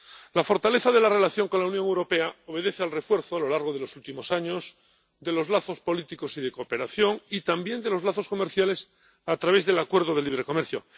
La fortaleza de la relación con la Unión Europea obedece al refuerzo, a lo largo de los últimos años, de los lazos políticos y de cooperación, y también de los lazos comerciales a través del acuerdo de libre comercio.